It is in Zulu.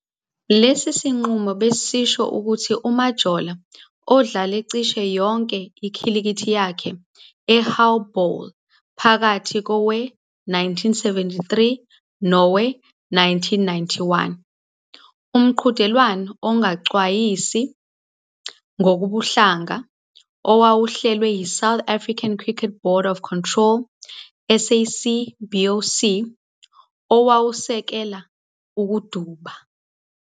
Lesi sinqumo besisho ukuthi uMajola udlale cishe yonke ikhilikithi yakhe eHow Bowl phakathi kowe-1973 nowe-1991, umqhudelwano ongacwasi ngokobuhlanga owawuhlelwe yiSouth African Cricket Board of Control, SACBOC, owawusekela ukuduba.